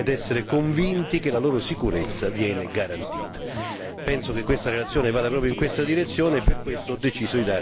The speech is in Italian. I cittadini devono poter contare sul pieno rispetto dei propri diritti ed essere convinti che la loro sicurezza viene garantita.